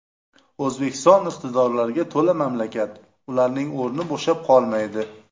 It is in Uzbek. O‘zbekiston iqtidorlarga to‘la mamlakat, ularning o‘rni bo‘shab qolmaydi.